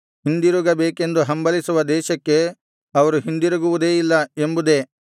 ಹಿಂದಿರುಗಬೇಕೆಂದು ಹಂಬಲಿಸುವ ದೇಶಕ್ಕೆ ಅವರು ಹಿಂದಿರುಗುವುದೇ ಇಲ್ಲ ಎಂಬುದೇ